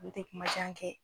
ale tɛ kumajan kɛ.